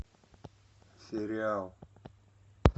сериал